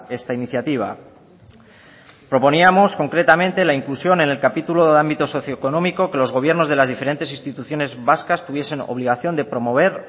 esta iniciativa proponíamos concretamente la inclusión en el capítulo del ámbito socio económico que los gobiernos de las diferentes instituciones vascas tuviesen obligación de promover